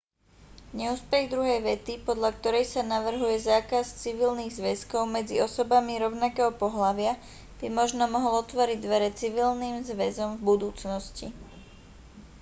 neúspech druhej vety podľa korej sa navrhuje zákaz civilných zväzkov medzi osobami rovnakého pohlavia by možno mohol otvoriť dvere civilným zväzom v budúcnosti